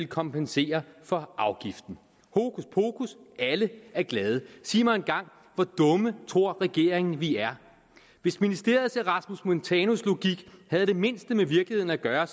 kompensere for afgiften hokuspokus alle er glade sig mig engang hvor dumme tror regeringen vi er hvis ministeriets erasmus montanus logik havde det mindste med virkeligheden at gøre er